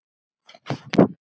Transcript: Þannig að þá er ég.